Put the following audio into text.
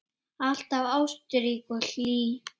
Alltaf ástrík og hlý.